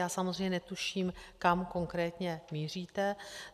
Já samozřejmě netuším, kam konkrétně míříte.